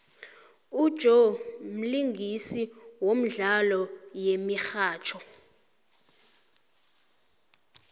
ujoe mlingisi womdlalo yemihatjho